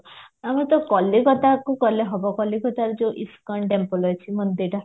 ଆମେ ତ କଲିକତାକୁ ଗଲେ ହବ କଲିକତାରେ ଯୋଉ ଇସ୍କନ temple ଅଛି ମନ୍ଦିର